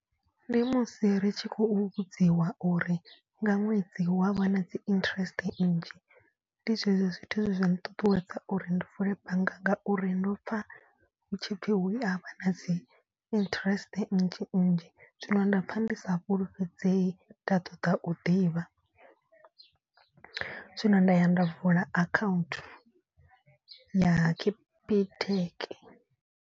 Ndi musi ri tshi khou vhudziwa uri nga ṅwedzi hu a vha na dzi interest nnzhi. Ndi zwezwo zwithu zwe zwa nṱuṱuwedza uri ndi vule bannga ngauri ndo pfha hutshipfi hu a vha na dzi interest nnzhi nnzhi. Zwino nda pfha ndi sa fhulufhedzei nda ṱoḓa u ḓivha zwino nda ya nda vula account ya Capitec.